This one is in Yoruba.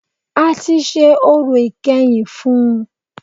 A tí ṣe orò ìkẹyìn fún ùn